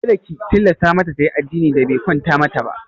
Kada ki tilasta mata tayi addinin da be kwanta mata ba!